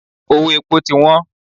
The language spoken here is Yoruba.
Owó epo ti wọ́n.